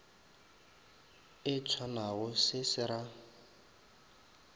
e tshwanago se se ra